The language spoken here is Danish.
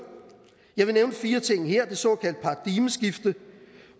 jeg vil nævne fire ting her er det såkaldte paradigmeskifte